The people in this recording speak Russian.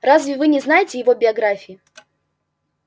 разве вы не знаете его биографии